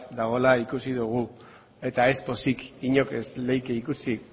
dagoela ikusi dugu eta ez pozik inork ez lezake ikusi